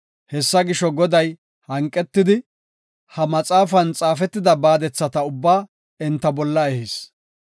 Hessa gisho, Goday hanqetidi, ha maxaafan xaafetida baadethata ubbaa enta bolla ehis.